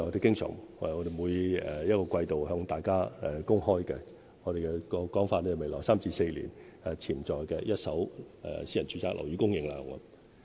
這就是我們經常按季度向大家公開的數字，按我們的說法，就是未來3至4年潛在的一手私人住宅樓宇供應量。